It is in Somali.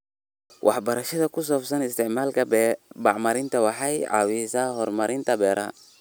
Waxbarashada ku saabsan isticmaalka bacriminta waxay caawisaa horumarinta beeraha.